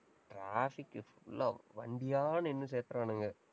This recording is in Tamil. traffic full ஆ, வண்டியா நின்னு சேத்துறானுங்க.